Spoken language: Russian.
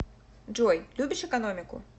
джой любишь экономику